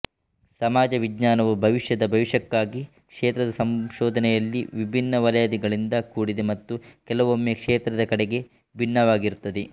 ಸಮಾಜ ವಿಜ್ಞಾನವು ಭವಿಷ್ಯದ ಭವಿಷ್ಯಕ್ಕಾಗಿ ಕ್ಷೇತ್ರದ ಸಂಶೋಧನೆಯಲ್ಲಿ ವಿಭಿನ್ನ ವಲಯಗಳಿಂದ ಕೂಡಿದೆ ಮತ್ತು ಕೆಲವೊಮ್ಮೆ ಕ್ಷೇತ್ರದ ಕಡೆಗೆ ಭಿನ್ನವಾಗಿರುತ್ತದೆ